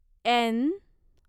N